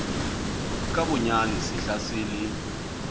nka bonyane sehla se le